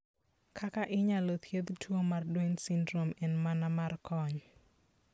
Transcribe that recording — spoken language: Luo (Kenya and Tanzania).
Kaka inyalo thiedh tuo mar Duane syndrome en mana mar kony.